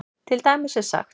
Til dæmis er sagt